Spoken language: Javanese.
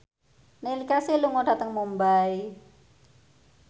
Neil Casey lunga dhateng Mumbai